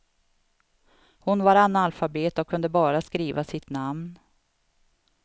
Hon var analfabet och kunde bara skriva sitt namn.